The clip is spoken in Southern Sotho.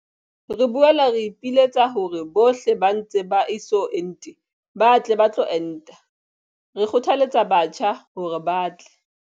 Re boela re ipiletsa hore bohle ba ntse ba eso ente ba tle ba tlo enta. Re kgothalletsa batjha hore ba tle.